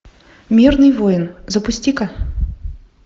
мирный воин запусти ка